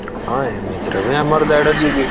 ହଁ ଏମିତିରେ ବି ଆମର ଦେଢ GB ।